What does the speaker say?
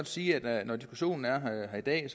sige at når diskussionen er her i dag